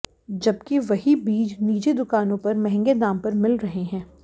जबकि वही बीज निजी दुकानों पर महंगे दाम पर मिल रहे हैं